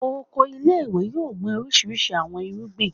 Oko ile-iwe yoo gbin orisirisi awọn irugbin